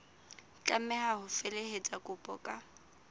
tlameha ho felehetsa kopo ka